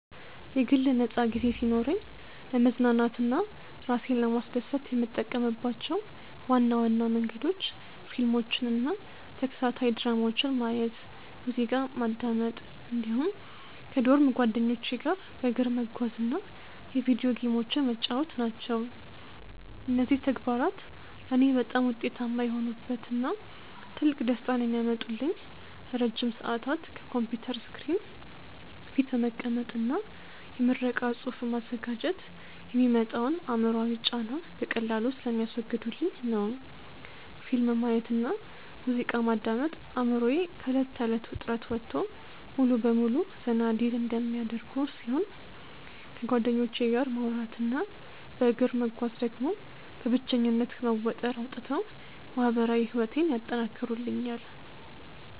የግል ነፃ ጊዜ ሲኖረኝ ለመዝናናት እና እራሴን ለማስደሰት የምጠቀምባቸው ዋና ዋና መንገዶች ፊልሞችን እና ተከታታይ ድራማዎችን ማየት፣ ሙዚቃ ማዳመጥ እንዲሁም ከዶርም ጓደኞቼ ጋር በእግር መጓዝ እና የቪዲዮ ጌሞችን መጫወት ናቸው። እነዚህ ተግባራት ለእኔ በጣም ውጤታማ የሆኑበት እና ትልቅ ደስታን የሚያመጡልኝ ለረጅም ሰዓታት ከኮምፒውተር ስክሪን ፊት በመቀመጥ እና የምረቃ ፅሁፍ በማዘጋጀት የሚመጣውን አእምሯዊ ጫና በቀላሉ ስለሚያስወግዱልኝ ነው። ፊልም ማየት እና ሙዚቃ ማዳመጥ አእምሮዬ ከእለት ተእለት ውጥረት ወጥቶ ሙሉ በሙሉ ዘና እንዲል የሚያደርጉ ሲሆን፣ ከጓደኞቼ ጋር ማውራት እና በእግር መጓዝ ደግሞ በብቸኝነት ከመወጠር አውጥተው ማህበራዊ ህይወቴን ያጠናክሩልኛል።